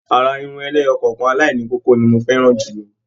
Àrà Irun ẹlẹ́yọọkan alaini kókó ni mo fẹràn jùlọ.